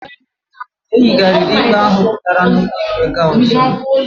E yigariri ikpe ahụ pụtara n"ulo ikpe ga ọzọ